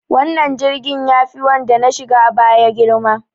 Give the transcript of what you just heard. Wannan jirgin yafi wanda na shiga a baya girma.